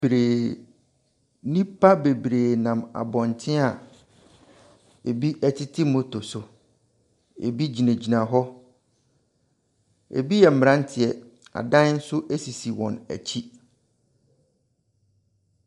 Bree… nnipa bebree nam abɔnten a bi tete moto so, ɛbi gyinagyina hɔ, bi yɛ mmeranteɛ. Adan nso sisi wɔn akyi.